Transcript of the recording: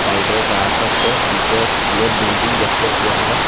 সাইডে গাছ আছে পিছে স্কুলের বিল্ডিং দেখতাছি আমরা।